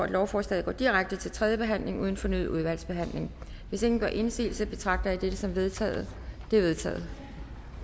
lovforslaget går direkte til tredje behandling uden fornyet udvalgsbehandling hvis ingen gør indsigelse betragter jeg dette som vedtaget vedtaget